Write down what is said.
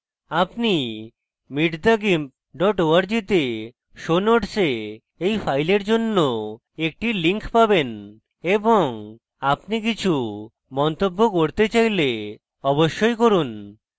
আপনি meetthegimp org তে show notes you file জন্য একটি link পাবেন এবং আপনি কিছু মন্তব্য করতে file অবশ্যই করুন